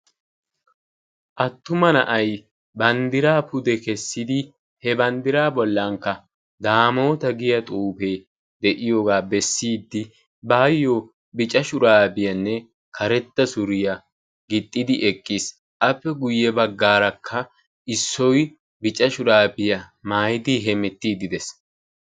Attuma na"ay banddiraa pude kessidi he banddiraa bollankka "daamoota" giyaa xuufee de"iyoogaa bessiiddi baayyo bica shuraabiyaanne karetta suriyaa gixxidi eqqis. Appe guyye baggaarakka issoy bica shuraabiyaa maayidi hemettiiddi de'ees.